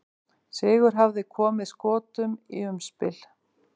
Sigur hefði komið Skotum í umspil.